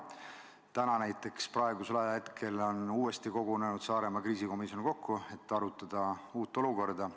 Täna näiteks on uuesti kogunenud Saaremaa kriisikomisjon, et arutada uut olukorda.